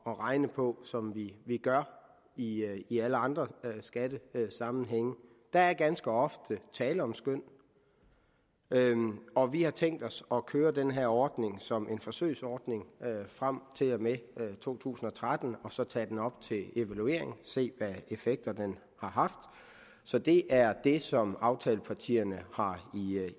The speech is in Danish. at regne på som vi gør i i alle andre skattesammenhænge der er ganske ofte tale om skøn og vi har tænkt os at køre den her ordning som en forsøgsordning frem til og med to tusind og tretten og så tage den op til evaluering og se hvilke effekter den har haft så det er det som aftalepartierne har